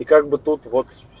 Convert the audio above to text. и как бы тут вот